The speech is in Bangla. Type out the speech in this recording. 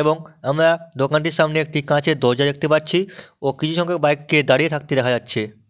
এবং আমরা দোকানটির সামনে একটি কাঁচের দরজা দেখতে পাচ্ছি ও কিছুরকম বাইক -কে দাঁড়িয়ে থাকতে দেখা যাচ্ছে।